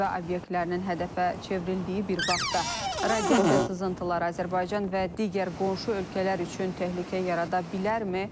Nüvə obyektlərinin hədəfə çevrildiyi bir vaxtda radiasiya sızıntıları Azərbaycan və digər qonşu ölkələr üçün təhlükə yarada bilərmi?